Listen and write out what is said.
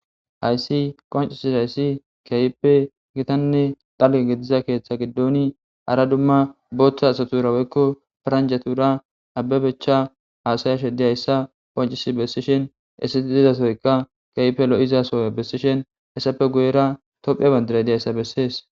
Haayis qonccisida izi keehippe giitanne xala gidida keetta gidon hara dumma karta asaturaeranichatura abebecha haysayisha diya iza qonccises.